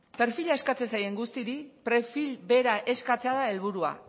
perfila eskatzen zaien guztiei perfil bera eskatzea da helburua